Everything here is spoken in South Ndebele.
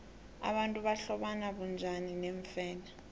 abantu bahlobana bunjani neemfene